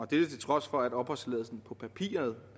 dette til trods for at opholdstilladelsen på papiret